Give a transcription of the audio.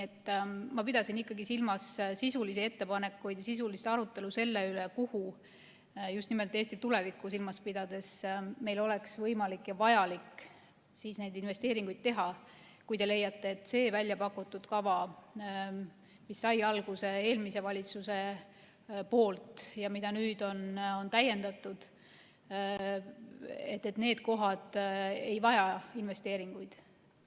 Ma pidasin silmas ikkagi sisulisi ettepanekuid ja sisulist arutelu selle üle, kuhu meil oleks võimalik ja vajalik just nimelt Eesti tulevikku silmas pidades investeeringuid teha, kui te leiate, et need kohad, selles väljapakutud kavas, mis algatati eelmise valitsuse ajal ja mida nüüd on täiendatud, ei vaja investeeringuid.